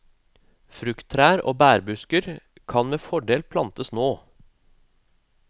Frukttrær og bærbusker kan med fordel plantes nå.